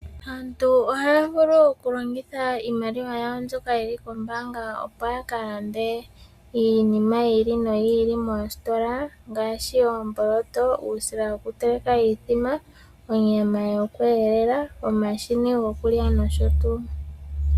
Aantu ohaa vulu okulongitha iimaliwa yawo mbyoka yili koombaanga opo ya ka lande iinima yi ili noyi ili moositola ngaashi: oomboloto, uusila wokuteleka iithima, onyama yokweelela, omashini gokulya nosho tuu.